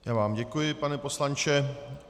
Já vám děkuji, pane poslanče.